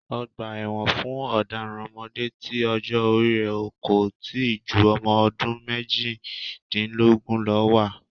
Ọgbà ẹ̀wọn fún ọ̀daràn ọmọdé tí ọjọ́ orí è kò tíì jú ọmọ ọdún méjìdínlógún lọ wà.